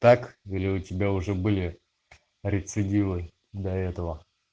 так или у тебя уже были рецидивы до этого